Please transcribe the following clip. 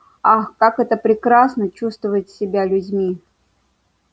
ах как это прекрасно чувствовать себя людьми